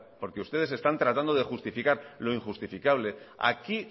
porque ustedes están tratando de justificar lo injustificable aquí